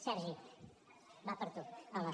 sergi va per tu hola